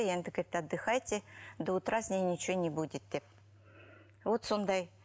енді отдыхайте до утра с ней ничого не будет деп вот сондай